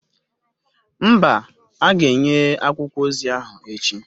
Mba, a ga-enye akwụkwọ ozi ahụ echi